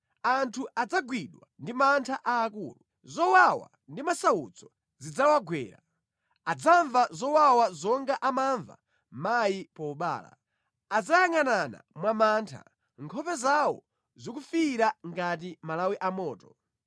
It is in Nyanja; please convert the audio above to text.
Anthu adzagwidwa ndi mantha aakulu, zowawa ndi masautso zidzawagwera; adzamva zowawa zonga amamva mayi pobereka. Adzayangʼanana mwamantha, nkhope zawo zikufiira ngati malawi amoto.